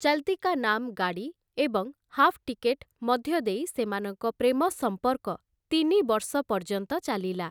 ଚଲ୍‌ତୀ କା ନାମ ଗାଡି ଏବଂ 'half ticket' ମଧ୍ୟ ଦେଇ ସେମାନଙ୍କ ପ୍ରେମ ସମ୍ପର୍କ ତିନି ବର୍ଷ ପର୍ଯ୍ୟନ୍ତ ଚାଲିଲା ।